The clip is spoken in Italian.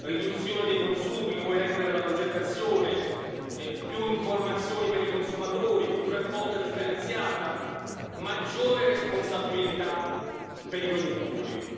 riduzione dei consumi, nuove regole per la progettazione, più informazioni per i consumatori, più raccolta differenziata, maggiore responsabilità per i produttori.